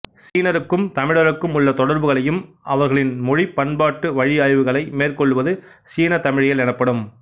சீனருக்கும் தமிழருக்கும் உள்ள தொடர்புகளையும் அவர்களின் மொழி பண்பாட்டுவழி ஆய்வுகளை மேற்கொள்வது சீனத் தமிழியல் எனப்படும்